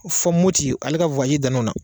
Fo Moti ale ka dan na o na.